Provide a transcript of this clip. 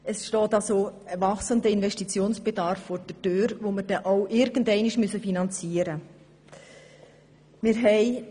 Es steht somit ein wachsender Investitionsbedarf vor der Türe, den wir irgendwann finanzieren müssen.